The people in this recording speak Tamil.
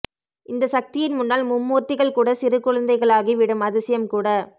இந்த சக்தியின் முன்னால் மும்மூர்த்திகள் கூட சிறு குழந்தைகளாகி விடும் அதிசயம் கூட